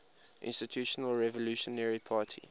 institutional revolutionary party